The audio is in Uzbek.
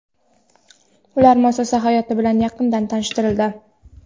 ular muassasa hayoti bilan yaqindan tanishtirildi.